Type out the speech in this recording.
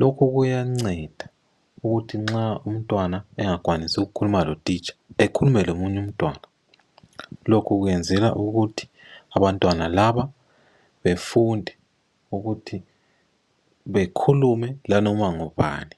Lokhu kuyanceda ukuthi nxa umtwana engakwanisi ukukhuluma lo titsha, ekhulume lomunye umtwana. Lokhu kwenzelwa ukuthi abantwana laba befunde ukuthi bekhulume la noma ngubani.